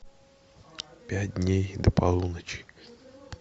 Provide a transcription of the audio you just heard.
пять дней до полуночи